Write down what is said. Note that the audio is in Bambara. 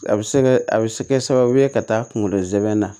A bɛ se kɛ a bɛ se ka kɛ sababu ye ka taa kungolo zɛmɛ na